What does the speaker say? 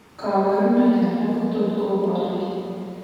Kabarunaik alak kotot kobor kee